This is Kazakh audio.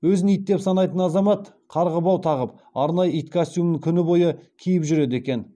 өзін ит деп санайтын азамат қарғыбау тағып арнайы ит костюмін күні бойы киіп жүреді екен